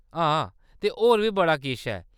हां, ते होर बी बड़ा किश ऐ।